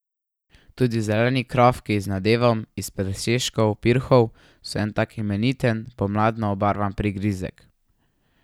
Tudi zeleni krofki z nadevom iz presežkov pirhov so en tak imeniten pomladno obarvan prigrizek.